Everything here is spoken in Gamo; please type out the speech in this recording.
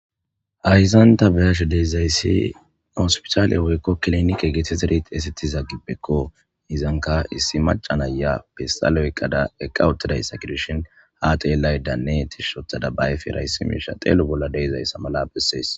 Hayssan tani be'ashe dizayssi hospitaale woykko kilinike geetettidi xeysettiza gibbeko. Izankka issi maccs na'iya pestaale oyiqqada eqqa uttidayssa gidishin ha xeellaydanne tishshi ooththada ba ayfera issi miishsha xeelo bolla dizayssa mala besses.